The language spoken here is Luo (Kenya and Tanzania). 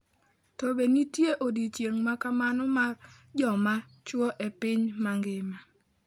To be nitie odiechieng ' ma kamano mar joma chwo e piny mangima?